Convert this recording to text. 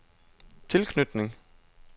tilknytning